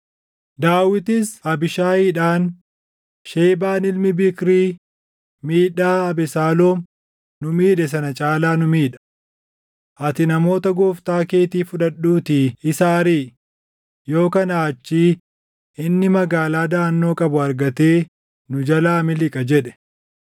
Daawitis Abiishaayidhaan, “Shebaan ilmi Biikrii miidhaa Abesaaloom nu miidhe sana caalaa nu miidha. Ati namoota gooftaa keetii fudhadhuutii isa ariʼi; yoo kanaa achii inni magaalaa daʼannoo qabu argatee nu jalaa miliqa” jedhe.